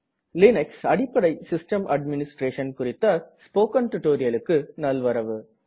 Linux அடிப்படை system administration குறித்த spoken டுடோரியலுக்கு நல்வரவு